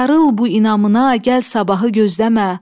Sarıl bu inamına, gəl sabahı gözləmə.